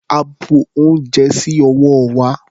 A bu ounjẹ sí ọwọ́ wa.